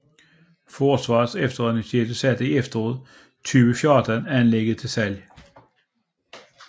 Forsvarets Efterretningstjeneste satte i efteråret 2014 anlægget til salg